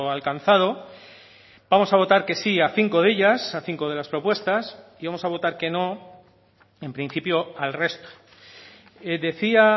alcanzado vamos a votar que sí a cinco de ellas a cinco de las propuestas y vamos a votar que no en principio al resto decía